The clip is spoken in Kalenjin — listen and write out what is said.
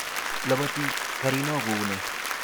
Labati garino ku nee?